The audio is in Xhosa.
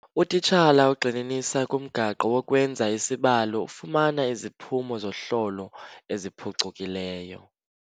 Utitshala ogxininisa kumgaqo wokwenza isibalo ufumana iziphumo zohlolo eziphucukileyo.